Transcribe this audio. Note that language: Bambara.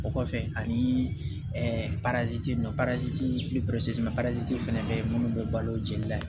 O kɔfɛ anii ɛ fɛnɛ be yen munnu be balo jeli la